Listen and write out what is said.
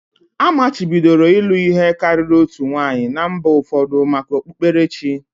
Amachibidoro ịlụ ihe karịrị otu nwanyị na mba ụfọdụ maka okpukperechi